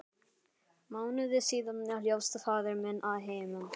Mánuði síðar hljópst faðir minn að heiman.